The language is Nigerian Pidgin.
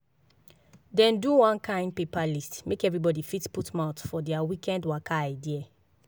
dem do one kind paper list make everybody fit put mouth for their weekend waka idea.